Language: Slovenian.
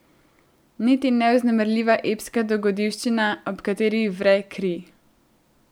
Niti ne vznemirljiva epska dogodivščina, ob kateri vre kri.